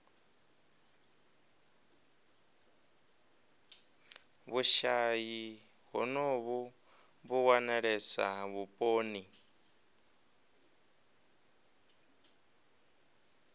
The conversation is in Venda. vhushayi honovhu vhu wanalesa vhuponi